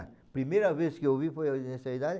Primeira vez que eu ouvi foi nessa idade.